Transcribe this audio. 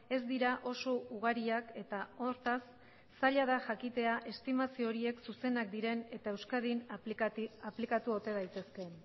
ez dira oso ugariak eta hortaz zaila da jakitea estimazio horiek zuzenak diren eta euskadin aplikatu ote daitezkeen